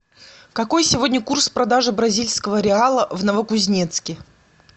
какой сегодня курс продажи бразильского реала в новокузнецке